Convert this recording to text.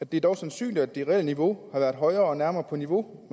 det er dog sandsynligt at det reelle niveau har været højere og nærmere på niveau